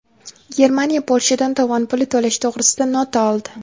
Germaniya Polshadan tovon puli to‘lash to‘g‘risida nota oldi.